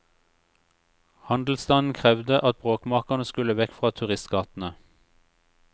Handelsstanden krevde at bråkmakerne skulle vekk fra turistgatene.